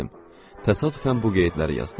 Təsadüfən bu qeydləri yazdım.